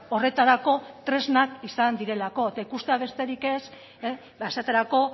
horretarako tresnak izan direlako eta ikustea besterik ez esaterako